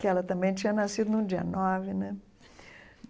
que ela também tinha nascido no dia nove, né?